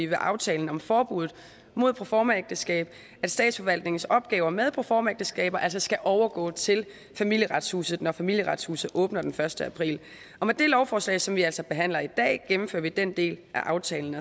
med aftalen om forbuddet mod proformaægteskab at statsforvaltningens opgaver med proformaægteskaber altså skal overgå til familieretshuset når familieretshuset åbner den første april og med det lovforslag som vi altså behandler i dag gennemfører vi den del af aftalen